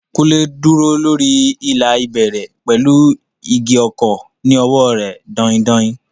Kunle dúró lórí ìlà ìbẹ̀rẹ̀ pẹ̀lú igi ọ̀kọ̀ ní ọwọ́ rẹ̀ dain-dain.